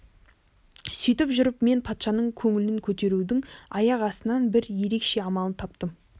сөйтіп жүріп мен патшаның көңілін көтерудің аяқ астынан бір ерекше амалын таптым